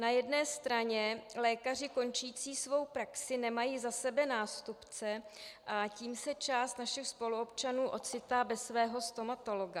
Na jedné straně lékaři končící svou praxi nemají za sebe nástupce, a tím se část našich spoluobčanů ocitá bez svého stomatologa.